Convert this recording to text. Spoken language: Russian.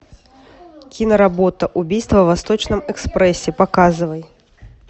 киноработа убийство в восточном экспрессе показывай